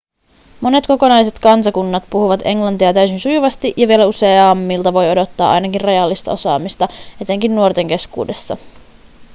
monet kokonaiset kansakunnat puhuvat englantia täysin sujuvasti ja vielä useammilta voi odottaa ainakin rajallista osaamista etenkin nuorten keskuudessa